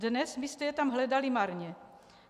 Dnes byste je tam hledali marně.